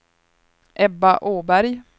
Ebba Åberg